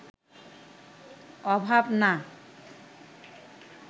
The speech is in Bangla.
অভাব না